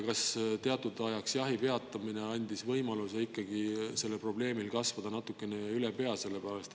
Kas teatud ajaks jahi peatamine andis võimaluse kasvada sellel probleemil natukene üle pea?